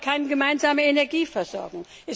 Es gibt keine gemeinsame Energieversorgung.